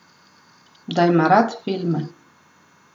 Da ima rad filme.